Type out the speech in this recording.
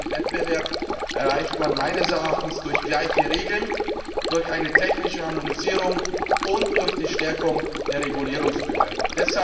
Effizienz und Wettbewerb erreicht man meines Erachtens durch gleiche Regeln, durch eine technische Harmonisierung und durch die Stärkung der Regulierungsbehörden.